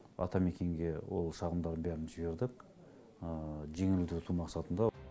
атамекенге ол шағымдардың бәрін жібердік жеңілдету мақсатында